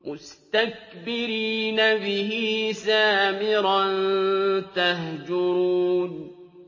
مُسْتَكْبِرِينَ بِهِ سَامِرًا تَهْجُرُونَ